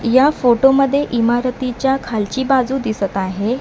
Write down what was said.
या फोटोमध्ये इमारतीच्या खालची बाजू दिसत आहे.